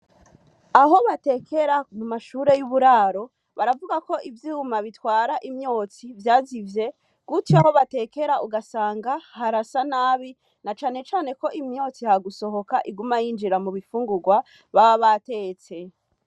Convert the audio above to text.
Aho batekera ku mashure y'uburaro, baravuga ko ivyuma bitwara imyotsi vyazivye, gutyo aho batekera ugasanga harasa nabi, na cane cane ko imyotsi ha gusohoka iguma yinjira mu bifungurwa, baba batetse.